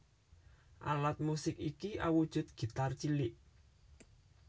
Alat musik iki awujud gitar cilik